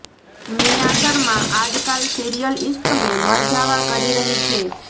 નિયા શર્મા આજકાલ સિરિયલ ઇશ્ક મેં મરજાવાં કરી રહી છે